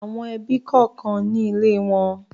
Àwọn ẹbí kọ̀ọ̀kan ní ilé wọn.